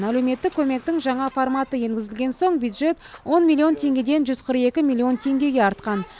әлеуметтік көмектің жаңа форматы енгізілген соң бюджет он миллион теңгеден жүз қырық екі миллион теңгеге артқан